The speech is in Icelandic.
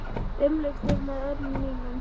Umlukt þig með örmum mínum.